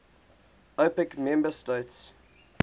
opec member states